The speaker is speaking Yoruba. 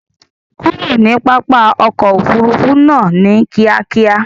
Kurò ní pápá òkò òfúrùfú náà ní kìákíá!